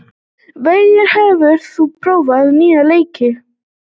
Veigur, hefur þú prófað nýja leikinn?